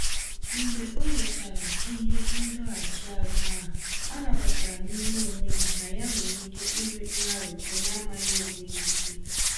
Mgbe onwechara ihe ndọghachi azụ ahụ, ọ nabatara n'ime onwe ya na ya nwere ike ịnwe ngharipu namaghị onwe ya ikpe.